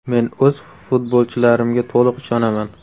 Men o‘z futbolchilarimga to‘liq ishonaman.